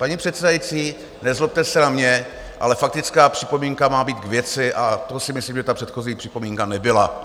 Paní předsedající, nezlobte se na mě, ale faktická připomínka má být k věci, a to si myslím, že ta předchozí připomínka nebyla.